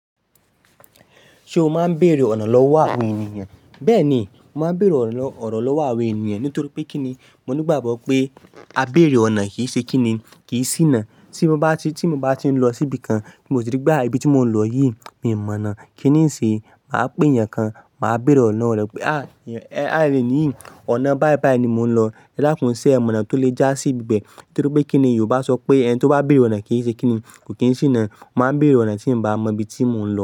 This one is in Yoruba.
Ṣé o máa ń bèèrè ọ̀nà lọ́wọ́ àwọn ènìyàn? Bẹ́ẹ̀ ni, mo máa ń bèèrè ọ̀nà lọ́wọ́ àwọn ènìyàn. Nítorí pé kín ni, mo nígbàgbọ́ pé á bèèrè ọ̀nà kì í ṣe kíni, kì í ṣìnà. Tí mo bá ti, tí mo bá ti ń lọ síbi kan, tí mo sì rí pé aà ibi tí mò ń lọ yìí, mi ò mọ̀ náà. Kí ni ń ṣe? Mà á pè ènìyàn kan, mà á bèèrè ọ̀nà lowọ̀ re "à, ení yìí, ọ̀nà báìbàí ni mò ń lọ" edakùn ṣẹ́ ee mọ̀ onà tó lè já sí ibẹ̀. Nítorí pé kí ni Yorùbá sọ pé "Ẹni tó bá bèèrè ọ̀nà kì í ṣe kíni, kò kí n ṣìnà. Mo máa ń bèèrè ọ̀nà tí n bá mọ ibi tí mò ń lọ.